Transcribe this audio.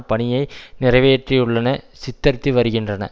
பணியை நிறைவேற்றியுள்ளன சித்தரித்து வருகின்றன